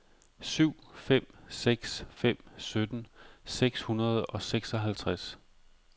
syv fem seks fem sytten seks hundrede og seksoghalvtreds